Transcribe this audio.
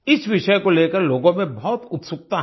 इस विषय को लेकर लोगों में बहुत उत्सुकता है